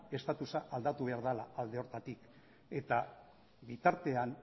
statusa aldatu behar dela alde horretatik eta bitartean